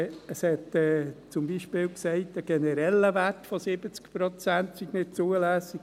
Es hat zum Beispiel gesagt, ein genereller Wert von 70 Prozent sei nicht zulässig.